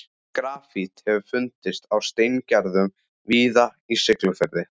Grafít hefur fundist á steingerðum viði í Siglufirði.